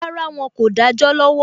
Rárá, Wọn kò dájọ́ lọ́wọ́